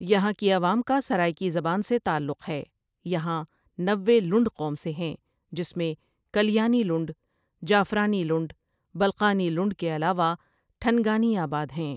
یہاں کی عوام کا سرائیکی زبان سے تعلق ہے یہاں نوے لنڈ قوم سے ہیں جسمیں کلیانی لنڈ جعفرانی لنڈ بلقانی لنڈ کے علاوہ ٹھنگانی آباد ہیں ۔